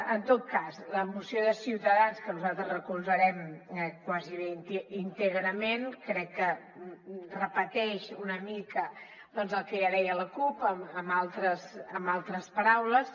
en tot cas la moció de ciutadans que nosaltres recolzarem gairebé íntegrament crec que repeteix una mica doncs el que ja deia la cup amb altres paraules